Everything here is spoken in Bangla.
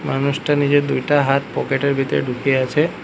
মানুষটা নিজের দুইটা হাত পকেট এর ভিতরে ঢুকিয়ে আছে।